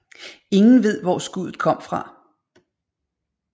Ingen ved hvor skuddet kom fra